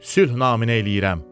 sülh naminə eləyirəm.